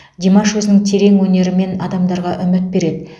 димаш өзінің терең өнерімен адамдарға үміт береді